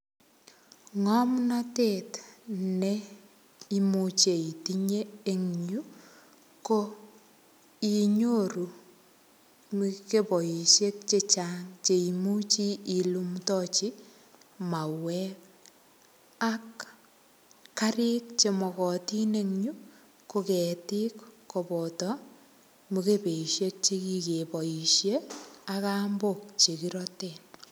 Ng'omnatet ne imuche itinye eng yuu, ko inyoru mukeboisiek chechang cheimuche ilumdachi mauek. Ak karik che makatin eng yu, ko ketik koboto mukebesiek che kikeboisie, ak kambok che kirate.